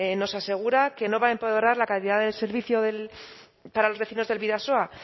nos asegura que no va a empeorar la calidad del servicio para los vecinos del bidasoa